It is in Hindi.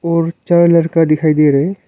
और चार लड़का दिखाई दे रहे हैं।